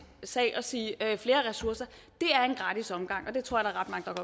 sag og sige flere ressourcer er en gratis omgang og det tror jeg